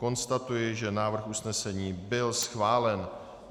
Konstatuji, že návrh usnesení byl schválen.